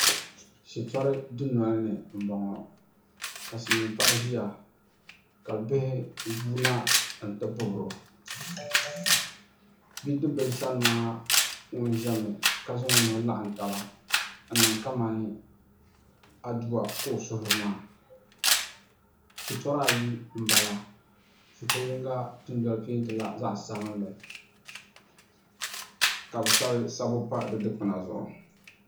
Shitɔri dundoli ni n bɔŋɔ ka silmiin paɣa ʒiya ka bihi guuna n ti bibiro bidib bili sani maa ŋun ʒɛmi ka zaŋ o nuhi laɣam taba n niŋ kamani aduwa ka o suhuri maa shitɔri ayi n bala shitɔ yinga peentila zaɣ sabinli ka bi sabi sabbu pa di dikpuna zuɣu